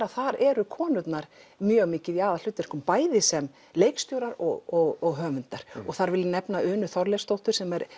að þar eru konurnar mjög mikið í aðalhlutverkum bæði sem leikstjórar og höfundar þar vil ég nefna Unu Þorleifsdóttur sem er